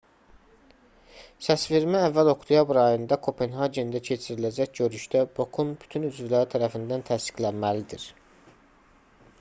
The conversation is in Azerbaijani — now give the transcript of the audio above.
səsvermə əvvəl oktyabr ayında kopenhagendə keçiriləcək görüşdə bok-un bütün üzvləri tərəfindən təsdiqlənməlidir